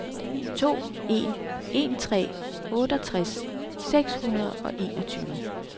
to en en tre otteogtres seks hundrede og enogtyve